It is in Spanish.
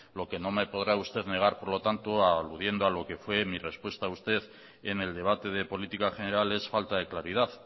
lo que no me podrá usted negar por lo tanto aludiendo a lo fue mi respuesta a usted en el debate de política general es falta de claridad